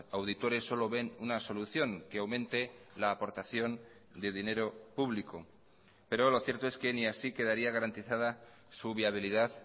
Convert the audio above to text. auditores solo ven una solución que aumente la aportación de dinero público pero lo cierto es que ni así quedaría garantizada su viabilidad